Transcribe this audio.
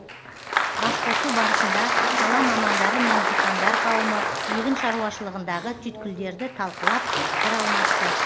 басқосу барысында сала мамандары мен диқандар қауымы егін шаруашылығындағы түйткілдерді талқылап пікір алмасты